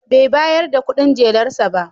Bai bayar da kudin jelar sa ba.